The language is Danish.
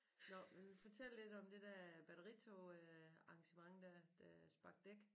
Nåh men fortæl lidt om det der batteritog øh arrangement der der sparke dæk